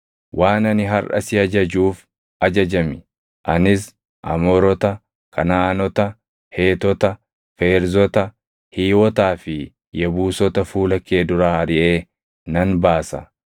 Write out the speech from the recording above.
Waan ani harʼa si ajajuuf ajajami. Anis Amoorota, Kanaʼaanota, Heetota, Feerzota, Hiiwotaa fi Yebuusota fuula kee duraa ariʼee nan baasa.